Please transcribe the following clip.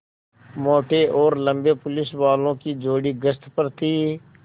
मोटे और लम्बे पुलिसवालों की जोड़ी गश्त पर थी